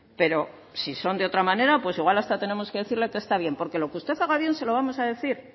pero si son de otra manera pues igual hasta tenemos que decirle que está bien porque lo que usted haga bien se lo vamos a decir